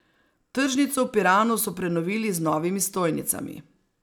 Tržnico v Piranu so prenovili z novimi stojnicami.